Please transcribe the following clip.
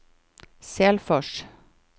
Selfors